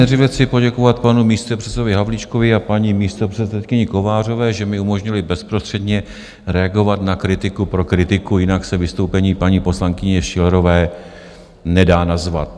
Nejdříve chci poděkovat panu místopředsedovi Havlíčkovi a paní místopředsedkyni Kovářové, že mi umožnili bezprostředně reagovat na kritiku pro kritiku, jinak se vystoupení paní poslankyně Schillerové nedá nazvat.